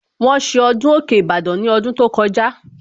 Wọ́n ṣe ọdún òkè Ìbàdàn ní ọdún tó kọjá